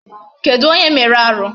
Kedụ onye mere arụ?